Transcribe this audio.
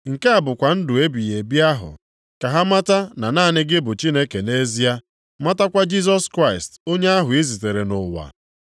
Nke a bụkwa ndụ ebighị ebi ahụ. Ka ha mata na naanị gị bụ Chineke nʼezie, matakwa Jisọs Kraịst onye ahụ i zitere nʼụwa.